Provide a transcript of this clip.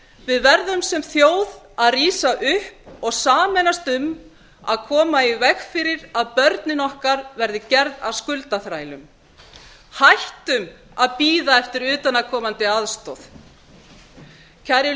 við verðum sem þjóð að rísa upp og sameinast um að koma í veg fyrir að börnin okkar verði gerð að skuldaþrælum hættum að bíða eftir utanaðkomandi aðstoð kæru